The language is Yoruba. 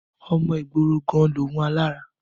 Ọmọ ìgboro gan-an lòun alára.